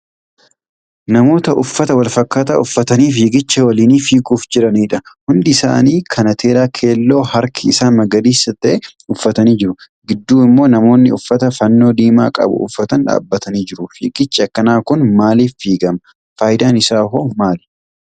Namoota uffata walfakkaataa uffatanii fiigicha waliinii fiiguuf jiranidha. Hundi isaanii kanateeraa keelloo harki isaa magariisa ta'e uffatanii jiru fiigu. Gidduu immo namoonni uffata fannoo diimaa qabu uffatan dhaabatanii jiru. Fiigichi akkanaa kun maaliif fiigamaa? Faayidaan isaa hoo maali?